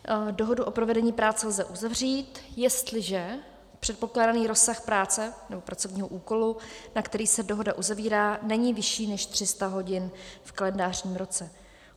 Dohodu o provedení práce lze uzavřít, jestliže předpokládaný rozsah práce nebo pracovního úkolu, na který se dohoda uzavírá, není vyšší než 300 hodin v kalendářním roce.